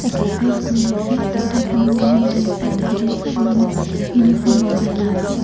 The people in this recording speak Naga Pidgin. excercise kuriase Tai khan ground tae ase tai khan sop manu uniform lakai na ase.